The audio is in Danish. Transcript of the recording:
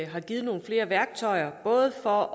har givet nogle flere værktøjer både for